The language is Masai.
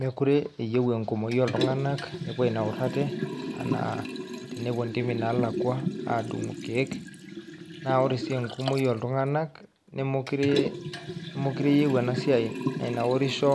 Mekure eyeu enkumoi ooltung'anak nepuo ainaur ate enaa tenepuo ntimi naalakua aadung'u irkeek naa ore sii enkumoi ooltung'anak nemokure nemokure eyeu ena siai nainaurisho